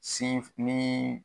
Sin f nii